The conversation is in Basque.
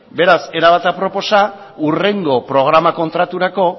beraz era bat aproposa hurrengo programa kontraturako